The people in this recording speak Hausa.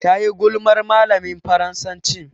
Tayi gulmar malamin Faransacin.